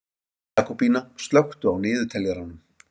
Jakobína, slökktu á niðurteljaranum.